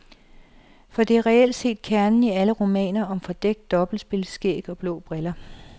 For det er reelt set kernen i alle romaner om fordækt dobbeltspil, skæg og blå briller.